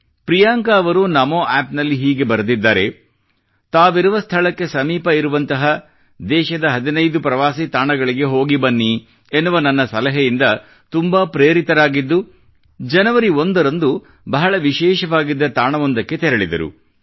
ಪ್ರಿಯಾಂಕ ಅವರು ನಮೋ ಆಪ್ ನಲ್ಲಿ ಹೀಗೆ ಬರೆದಿದ್ದಾರೆ ದೇಶದ ತಾವಿರುವ ಸ್ಥಳಕ್ಕೆ ಸಮೀಪವಿರುವಂತಹ ದೇಶದ 15 ಪ್ರವಾಸಿ ತಾಣಗಳಿಗೆ ಹೋಗಿ ಬನ್ನಿ ಎನ್ನುವ ನನ್ನ ಸಲಹೆಯಿಂದ ತುಂಬಾ ಪ್ರೇರಿತರಾಗಿದ್ದು ಜನವರಿ 1 ರಂದು ಬಹಳ ವಿಶೇಷವಾಗಿದ್ದ ತಾಣವೊಂದಕ್ಕೆ ತೆರಳಿದರು